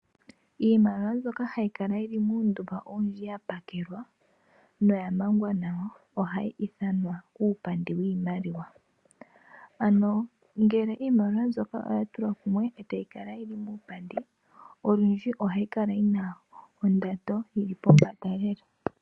Iimaliwambyokahayi kala yili muundumba yapakelwa noya mangwa nawa ohayi ithanwa uupandi wiimaliwa. Ano ngele iimaliwa mbyono oyatulwa kumwe etayi kala yili muupandi, olundji iimaliwa mbyono ohayi kala yi na onando lela.